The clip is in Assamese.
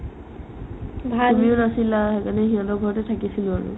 তুমিও নাছিলা সেইকাৰণে সিহঁতৰ ঘৰত থাকিছিলো আৰু